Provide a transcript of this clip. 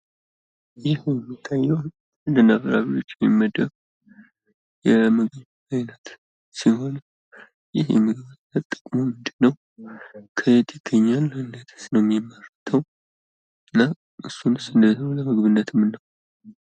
ይህ የሚታየዉ ከአትክልትና ፍራፍሬዎች የሚመደብ ምግብ አይነት ሲሆን ይህ የምግብ አይነት ጥቅሙ ምንድን ነዉ? ከየትስ ይገኛል? እንዴትስ ነዉ የሚመረተዉ? እና እንዴትስ ነዉ እሱን ለምግብነት የምናዉለዉ?